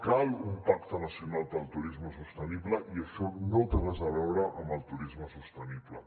cal un pacte nacional per al turisme sostenible i això no té res a veure amb el turisme sostenible